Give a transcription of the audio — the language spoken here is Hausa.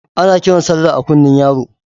Ana kiran Sallah a kunne yaro